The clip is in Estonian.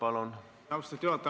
Austatud juhataja!